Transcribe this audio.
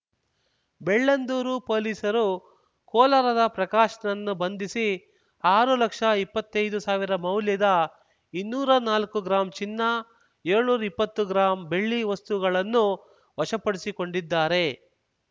ಬೆಳ್ಳಂದೂರು ಪೊಲೀಸರು ಕೋಲಾರದ ಪ್ರಕಾಶ್‌ನನ್ನು ಬಂಧಿಸಿ ಆರು ಲಕ್ಷ ಇಪ್ಪತ್ತೈದು ಸಾವಿರ ಮೌಲ್ಯದ ಇನ್ನೂರಾ ನಾಲ್ಕು ಗ್ರಾಂ ಚಿನ್ನ ಏಳ್ನೂರಾ ಇಪ್ಪತ್ತು ಗ್ರಾಂ ಬೆಳ್ಳಿ ವಸ್ತುಗಳನ್ನು ವಶಪಡಿಸಿಕೊಂಡಿದ್ದಾರೆ